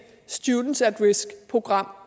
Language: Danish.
students at risk program